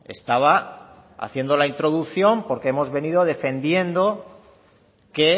estaba haciendo la introducción porque hemos venido defendiendo que